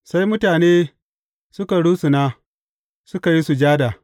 Sai mutane suka rusuna, suka yi sujada.